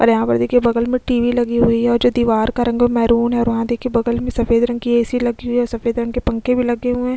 और यहाँ पर देखिये बगल मै टीवी लगी हुई है और जो दिवार का रंग मेरून है और वहाँ देखिये सफ़ेद रंग की एसी लगी हुई है सफ़ेद रंग की पंखे लगे है।